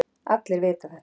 Allir vita þetta.